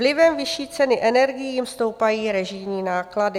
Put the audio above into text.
Vlivem vyšší ceny energií jim stoupají režijní náklady.